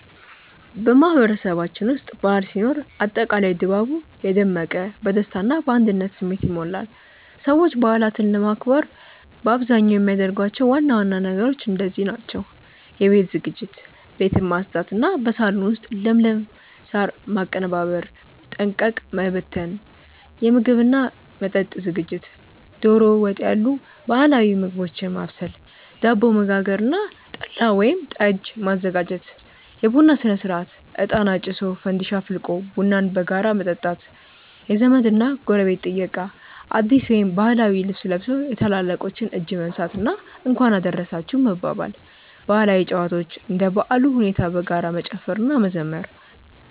በማህበረሰባችን ውስጥ በዓል ሲኖር አጠቃላይ ድባቡ የደመቀ፣ በደስታ እና በአንድነት ስሜት ይሞላል። ሰዎች በዓላትን ለማክበር በአብዛኛው የሚያደርጓቸው ዋና ዋና ነገሮች እንደዚህ ናቸው፦ የቤት ዝግጅት፦ ቤትን ማጽዳት እና በሳሎን ውስጥ ለምለም ሳር ማቀነባበርና ጠንቀቀ መበተን። የምግብ እና መጠጥ ዝግጅት፦ ዶሮ ወጥ ያሉ ባህላዊ ምግቦችን ማብሰል፣ ዳቦ መጋገር እና ጠላ ወይም ጠጅ ማዘጋጀት። የቡና ሥነ-ሥርዓት፦ እጣን አጭሶ፣ ፋንዲሻ አፍልቆ ቡናን በጋራ መጠጣት። የዘመድ እና ጎረቤት ጥየቃ፦ አዲስ ወይም ባህላዊ ልብስ ለብሶ የታላላቆችን እጅ መንሳት እና "እንኳን አደረሳችሁ" መባባል። ባህላዊ ጨዋታዎች፦ እንደ በዓሉ ሁኔታ በጋራ መጨፈር እና መዘመር።